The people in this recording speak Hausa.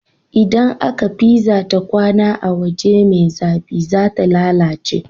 Idan aka pizza ta kwAna a waje me zafi zata lalace